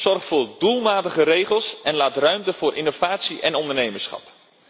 Zorg voor doelmatige regels en laat ruimte voor innovatie en ondernemerschap.